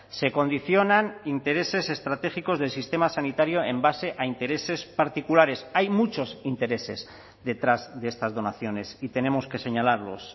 se condicionan intereses estratégicos del sistema sanitario en base a intereses particulares hay muchos intereses detrás de estas donaciones y tenemos que señalarlos